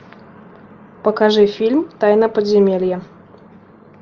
покажи фильм тайна подземелья